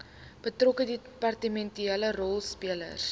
betrokke departementele rolspelers